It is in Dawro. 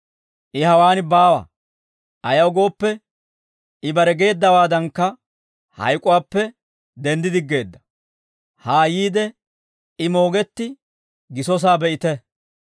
I hawaan baawa; ayaw gooppe, I bare geeddawaadankka hayk'uwaappe denddi diggeedda; haa yiide, I moogetti gisosaa be'ite.